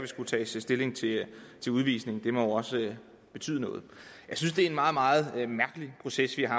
skulle tages stilling til udvisning det må jo også betyde noget jeg synes det er en meget meget mærkelig proces vi har